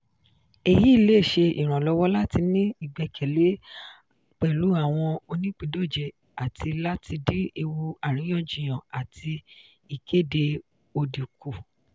èyí le ṣe ìrànlọ́wọ́ láti ní ìgbẹ́kẹ̀lé pẹ̀lú àwọn oníìpíndọ̀jẹ̀ àti láti dín ewu àríyànjiyàn àti ìkéde òdì kù.